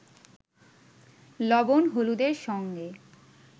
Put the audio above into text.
লবণ-হলুদের সঙ্গে